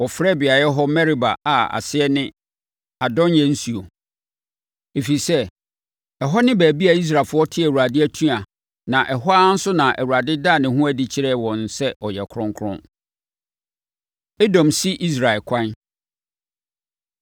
Wɔfrɛɛ beaeɛ hɔ Meriba a aseɛ ne: Adɔnyɛ Nsuo, ɛfiri sɛ, ɛhɔ ne baabi a Israelfoɔ tee Awurade atua na, ɛhɔ ara nso na Awurade daa ne ho adi kyerɛɛ wɔn sɛ ɔyɛ kronkron. Edom Si Israel Ɛkwan